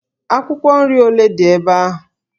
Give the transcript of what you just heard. Akwụkwọ nri ole dị ebe ahụ?